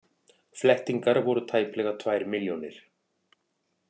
Flettingar voru tæplega tvær milljónir.